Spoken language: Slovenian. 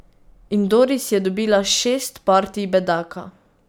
In Doris je dobila šest partij bedaka.